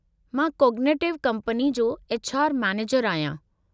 मां cognitive company जो HR. मैनेजरु आहियां।